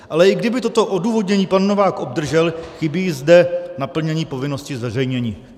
Ale i kdyby toto odůvodnění pan Novák obdržel, chybí zde naplnění povinnosti zveřejnění.